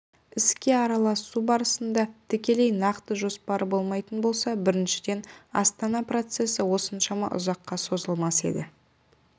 іске араласу барысында тікелей нақты жоспары болмайтын болса біріншіден астана процесі осыншама ұзаққа созылмас еді